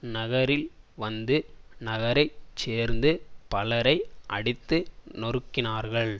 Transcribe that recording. நகரில் வந்து நகரை சேர்ந்த பலரை அடித்து நொருக்கினார்கள்